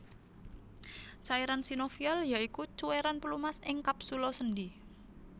Cairan sinovial ya iku cuwéran pelumas ing kapsula sendhi